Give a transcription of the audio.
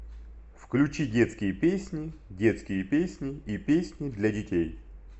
включи детские песни детские песни и песни для детей